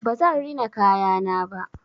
Ba zan rina kayana ba.